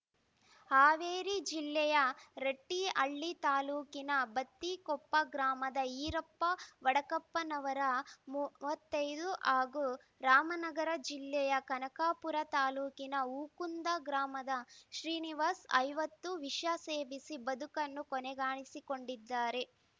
ಹಾವೇರಿ ಜಿಲ್ಲೆಯ ರಟ್ಟಿಹಳ್ಳಿ ತಾಲೂಕಿನ ಬತ್ತಿಕೊಪ್ಪ ಗ್ರಾಮದ ಈರಪ್ಪ ವಡಕಪ್ಪನವರ ಮೂವತ್ತ್ ಐದು ಹಾಗೂ ರಾಮನಗರ ಜಿಲ್ಲೆಯ ಕನಕಪುರ ತಾಲೂಕಿನ ಹೂಕುಂದ ಗ್ರಾಮದ ಶ್ರೀನಿವಾಸ್‌ ಐವತ್ತು ವಿಷ ಸೇವಿಸಿ ಬದುಕನ್ನು ಕೊನೆಗಾಣಿಸಿಕೊಂಡಿದ್ದಾರೆ